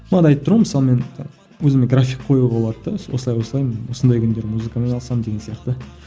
бағана айтып тұрмын ғой мысалы мен өзіме график қоюға болады да осылай осылай мен осындай күндері музыкамен айналысамын деген сияқты